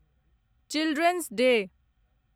children's day